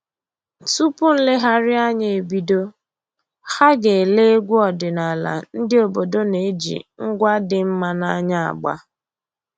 Tupu nlegharịanya ebido, ha ga-ele egwu ọdịnaala ndị obodo na-eji ngwa dị mma n'anya agba